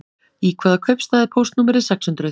Í hvaða kaupstað er póstnúmerið sex hundruð?